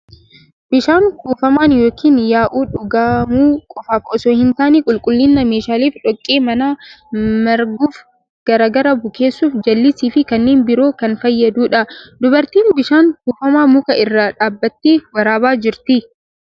Bishaan kuufamaan yookiin yaa'u dhugamuu qofaaf osoo hin taane qulqullina meeshaaleef, dhoqqee mana maraguuf gargaaru bukeessuuf, jallisii fi kanneen biroof kan fayyadudha. Dubartiin bishaan kuufamaa muka irra dhaabattee waraabaa jirti.